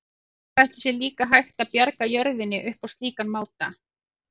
Hvað ætli sé líka hægt að bjarga jörðinni upp á slíkan máta?